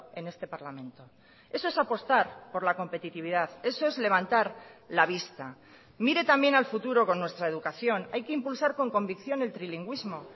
en este parlamento eso es apostar por la competitividad eso es levantar la vista mire también al futuro con nuestra educación hay que impulsar con convicción el trilingüismo